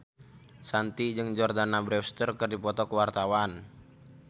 Shanti jeung Jordana Brewster keur dipoto ku wartawan